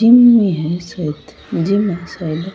Gym ही है सायद जिम है सायद।